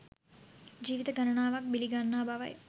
ජීවිත ගණනාවක් බිලි ගන්නා බවයි